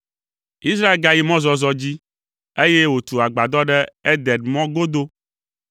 Israel gayi mɔzɔzɔ dzi, eye wòtu agbadɔ ɖe Eder mɔ godo.